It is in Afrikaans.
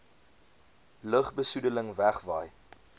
lugbe soedeling wegwaai